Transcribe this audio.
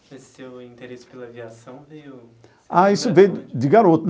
Esse seu interesse pela aviação veio... Ah, isso veio de garoto.